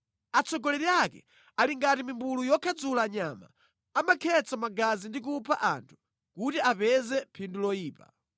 Atsogoleri ake ali ngati mimbulu yokhadzula nyama; amakhetsa magazi ndi kupha anthu kuti apeze phindu loyipa.